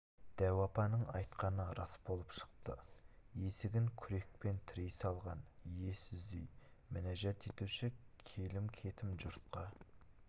дәу апаның айтқаны рас болып шықты есігін күрекпен тірей салған иесіз үй мінәжат етуші келім-кетім жұртқа